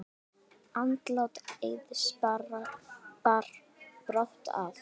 Andlát Eiðs bar brátt að.